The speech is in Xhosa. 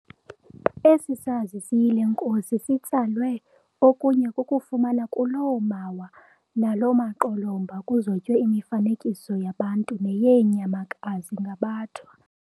Esi sazi siyile nkosi sitsalwe okunye kukufumana kuloo mawa namaqolomba kuzotywe imifanekiso yabantu neyeenyamakazi ngaBathwa.